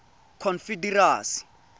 confederacy